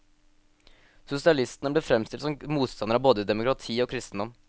Sosialistene ble framstilt som motstandere av både demokrati og kristendom.